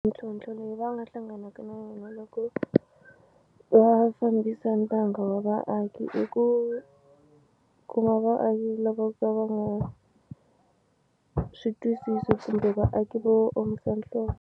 Mintlhontlho leyi va nga hlanganaka na yona loko va fambisa ntanga wa vaaki i ku kuma vaaki lava ka va nga swi twisisi kumbe vaaki vo omisa nhloko.